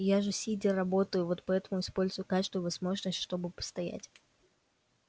я же сидя работаю вот поэтому использую каждую возможность чтобы постоять